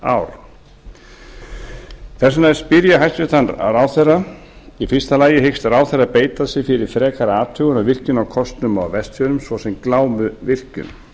undanfarin ár þess vegna spyr ég hæstvirtan ráðherra fyrstu hyggst ráðherra beita sér fyrir frekari athugun á virkjunarkostum á vestfjörðum svo sem glámuvirkjun